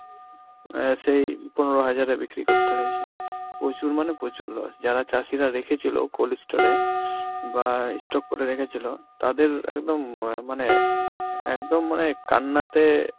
অ্যাঁ সেই পনেরো হাজারে বিক্রি করতে হয়েছে, প্রচুর মানে প্রচুর loss, যারা চাষিরা রেখেছিল cold ই store এ বা ই stock করে রেখেছিল তাদের একদম মা~ মানে একদম মানে কান্নাতে